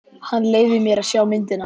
Hann leyfði mér að sjá myndina.